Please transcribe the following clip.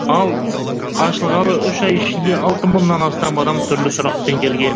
ал ашылғалы үш ай ішінде алты мыңнан астам адам түрлі сұрақпен келген